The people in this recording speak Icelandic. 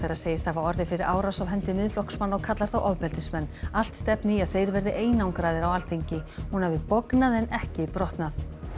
segist hafa orðið fyrir árás af hendi Miðflokksmanna og kallar þá ofbeldismenn allt stefni í að þeir verði einangraðir á Alþingi hún hafi bognað en ekki brotnað